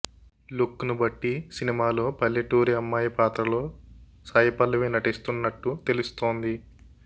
look ను బట్టి సినిమాలో పల్లెటూరి అమ్మాయి పాత్రలో సాయిపల్లవి నటిస్తున్నట్టు తెలుస్తోంది